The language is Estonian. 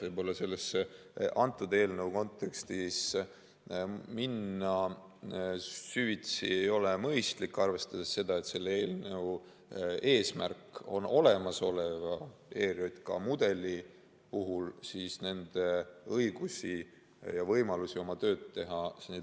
Võib-olla antud eelnõu kontekstis ei ole süvitsi minna mõistlik, arvestades seda, et selle eelnõu eesmärk on laiendada olemasoleva ERJK mudeli puhul nende õigusi ja võimalusi oma tööd teha.